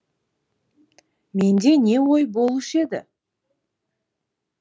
менде не ой болушы еді